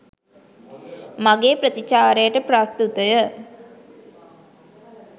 මගේ ප්‍රතිචාරයට ප්‍රස්තුතය